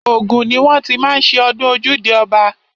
Ògùn ni wọ́n ti má ń ṣe ọdún ojúde ọba.